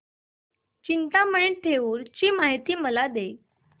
चिंतामणी थेऊर ची मला माहिती दे